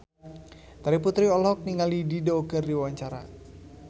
Terry Putri olohok ningali Dido keur diwawancara